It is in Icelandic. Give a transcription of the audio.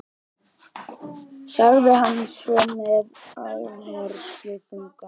sagði hann svo með áhersluþunga.